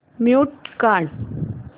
mute काढ